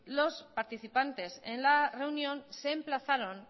los participantes en la reunión se emplazaron